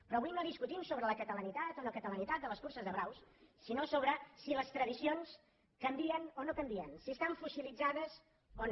però avui no discutim sobre la catalanitat o no catalanitat de les curses de braus sinó sobre si les tradicions canvien o no canvien si estan fossilitzades o no